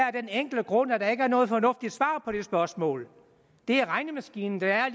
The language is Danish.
af den enkle grund at der ikke er noget fornuftigt svar på det spørgsmål det er regnemaskinen der er